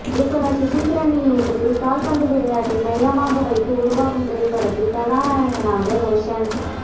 இயக்குநர் சுசீந்திரனின் இயக்கத்தில் கால் பந்து விளையாட்டை மையமாக வைத்து உருவாகும் திரைப்படத்தில் கதாநாயகனாக ரோஷன்